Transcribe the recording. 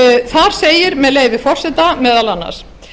þar segir með leyfi forseta meðal annars